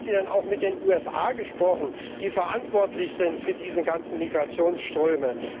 Haben Sie denn auch mit den USA gesprochen, die verantwortlich sind für diese ganzen Migrationsströme?